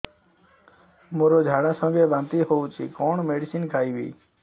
ମୋର ଝାଡା ସଂଗେ ବାନ୍ତି ହଉଚି କଣ ମେଡିସିନ ଖାଇବି